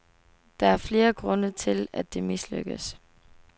Der er flere grunde til, at det mislykkedes.